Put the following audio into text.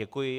Děkuji.